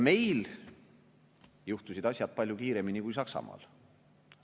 Meil juhtusid asjad palju kiiremini kui Saksamaal.